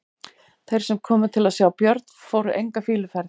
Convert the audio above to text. Þeir sem komu til að sjá Björn fóru enga fýluferð.